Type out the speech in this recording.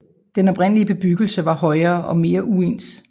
Den oprindelige bebyggelse var højere og meget uens